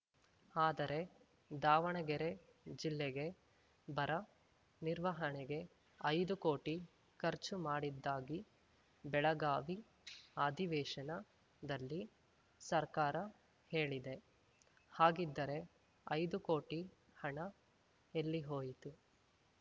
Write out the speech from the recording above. ಆದರೆ ದಾವಣಗೆರೆ ಜಿಲ್ಲೆಗೆ ಬರ ನಿರ್ವಹಣೆಗೆ ಐದು ಕೋಟಿ ಖರ್ಚು ಮಾಡಿದ್ದಾಗಿ ಬೆಳಗಾವಿ ಅಧಿವೇಶನದಲ್ಲಿ ಸರ್ಕಾರ ಹೇಳಿದೆ ಹಾಗಿದ್ದರೆ ಐದು ಕೋಟಿ ಹಣ ಎಲ್ಲಿ ಹೋಯಿತು